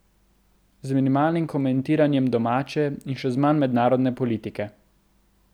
Z minimalnim komentiranjem domače, in še z manj mednarodne politike.